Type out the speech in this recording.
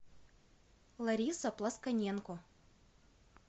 лариса плосконенко